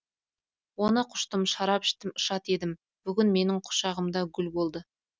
оны құштым шарап іштім шат едім бүгін менің құшағымда гүл болды